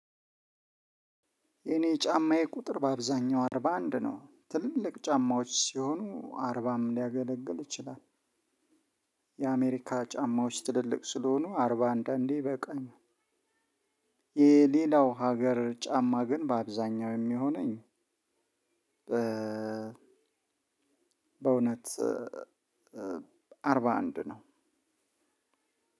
የኔ ጫማዬ ቁጥር በአብዛኛው አርባ አንድ ነው ትልልቅ ጫማዎች ሲሆኑ አርባም ሊያገለግል ይችላል። የአሜሪካ ጫማዎች ትልልቅ ስለሆኑ አርባ አንዳንዴ ይበቃኛል። የሌላው ሀገር ጫማ ግን በአብዛኛው የሚሆነኝ። በእውነት አርባ አንድ ነው።